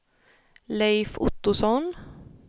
Leif Ottosson